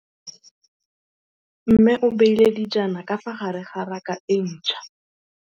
Mmê o beile dijana ka fa gare ga raka e ntšha.